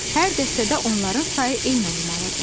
Hər dəstədə onların sayı eyni olmalıdır.